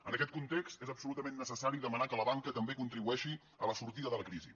en aquest context és absolutament necessari demanar que la banca també contribueixi a la sortida de la crisi